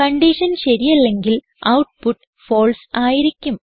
condition ശരിയല്ലെങ്കിൽ output false ആയിരിക്കും